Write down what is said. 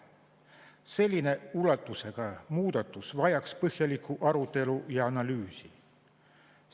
Sellise ulatusega muudatus vajaks põhjalikku arutelu ja analüüsi.